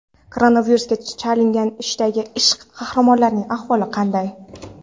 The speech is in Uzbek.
Koronavirusga chalingan "Ishdagi ishq" qahramonlarining ahvoli qanday?.